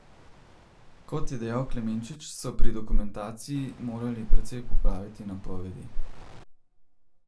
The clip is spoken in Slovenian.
Kot je dejal Klemenčič, so pri dokumentaciji morali precej popraviti napovedi.